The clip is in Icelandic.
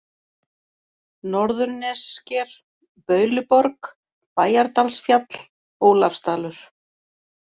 Norðurnessker, Bauluborg, Bæjardalsfjall, Ólafsdalur